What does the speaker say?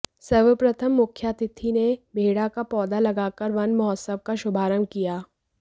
सर्वप्रथम मुख्यातिथि ने बेहड़ा का पौधा लगाकर वन महोत्सव का शुभारंभ किया